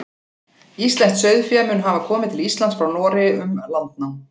Íslenskt sauðfé mun hafa komið til Íslands frá Noregi um landnám.